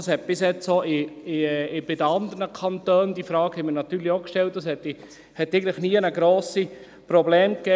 Damit gab es bisher auch in den anderen Kantonen – diese Frage haben wir natürlich auch gestellt – eigentlich nirgendwo grosse Probleme.